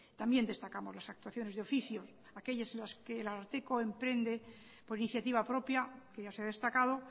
también destacamos las actuaciones de oficio aquellas en las que el ararteko emprende por iniciativa propia que ya se ha destacado